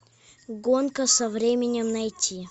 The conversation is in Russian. гонка со временем найти